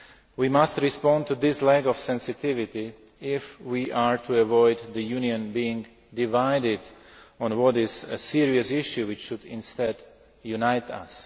We must respond to this lack of sensitivity if we are to avoid the Union being divided on a serious issue which should instead unite us.